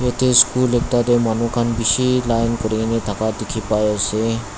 te school ekta tae manu khan bishi line kurikaena dikhipaiase.